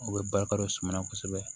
U bɛ barika don suma na kosɛbɛ